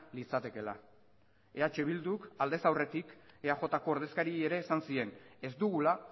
litzatekeela eh bilduk aldez aurretik eajko ordezkariei ere esan zien ez dugula